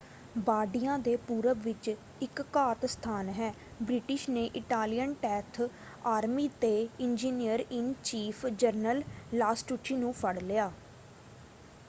ਬਾਰਡੀਆ ਦੇ ਪੂਰਬ ਵਿੱਚ ਇਕ ਘਾਤ-ਸਥਾਨ ਹੈ ਬ੍ਰਿਟਿਸ਼ ਨੇ ਇਟਾਲੀਅਨ ਟੈਂਥ ਆਰਮੀ ਦੇ ਇੰਜੀਨੀਅਰ-ਇਨ-ਚੀਫ ਜਨਰਲ ਲਾਸਟੁਚੀ ਨੂੰ ਫੜ੍ਹ ਲਿਆ।